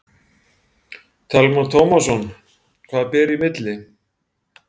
Telma Tómasson: Hvað ber í milli?